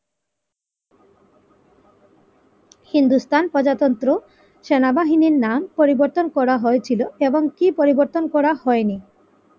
হিন্দুস্তান প্রজাতন্ত্র সেনাবাহিনীর নাম পরিবর্তন করা হয়েছিল এবং কি পরিবর্তন করা হয়নি?